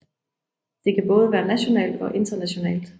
Det kan både være nationalt og internationalt